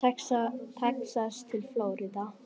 Texas til Flórída.